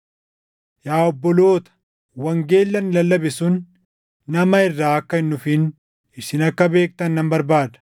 Yaa obboloota, wangeelli ani lallabe sun nama irraa akka hin dhufin isin akka beektan nan barbaada.